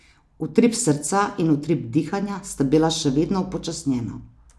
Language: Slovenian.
Utrip srca in utrip dihanja sta bila še vedno upočasnjena.